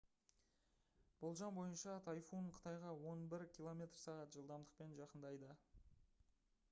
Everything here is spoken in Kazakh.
болжам бойынша тайфун қытайға он бір км/сағ жылдамдықпен жақындайды